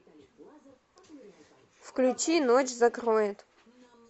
включи ночь закроет